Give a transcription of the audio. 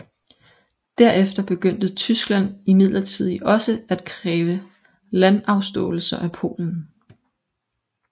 Derefter begyndte Tyskland imidlertid også at kræve landafståelser af Polen